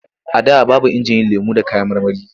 A da babu injin yin lemo da kayan marmari.